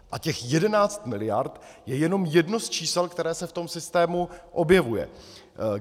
A těch 11 mld. je jenom jedno z čísel, které se v tom systému objevuje.